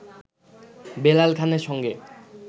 বেলাল খানের সঙ্গে